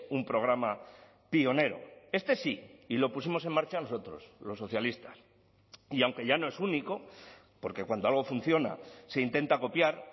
un programa pionero este sí y lo pusimos en marcha nosotros los socialistas y aunque ya no es único porque cuando algo funciona se intenta copiar